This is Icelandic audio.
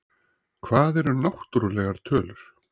Hvað eru náttúrlegar tölur?